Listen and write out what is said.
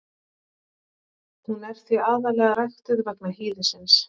Hún er því aðallega ræktuð vegna hýðisins.